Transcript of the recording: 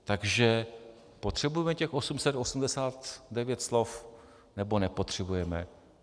Takže potřebujeme těch 889 slov, nebo nepotřebujeme?